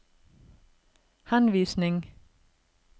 henvisning